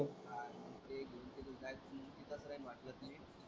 हा ते ,